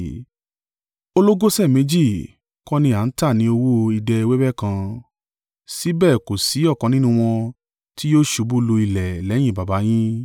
Ológoṣẹ́ méjì kọ́ ni à ń tà ní owó idẹ wẹ́wẹ́ kan? Síbẹ̀ kò sí ọ̀kan nínú wọn tí yóò ṣubú lu ilẹ̀ lẹ́yìn Baba yin.